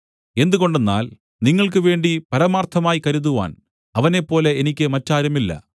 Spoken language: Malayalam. എന്തുകൊണ്ടെന്നാൽ നിങ്ങൾക്കുവേണ്ടി പരമാർത്ഥമായി കരുതുവാൻ അവനെപ്പോലെ എനിക്ക് മറ്റാരുമില്ല